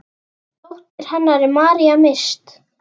Dóttir hennar er María Mist.